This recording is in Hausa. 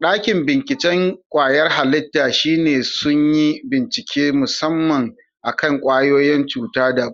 Ɗakin binciken kwayar halitta shine sun yi bincike musamman akan kwayoyin cuta da